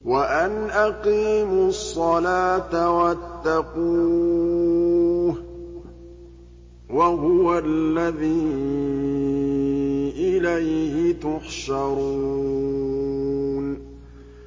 وَأَنْ أَقِيمُوا الصَّلَاةَ وَاتَّقُوهُ ۚ وَهُوَ الَّذِي إِلَيْهِ تُحْشَرُونَ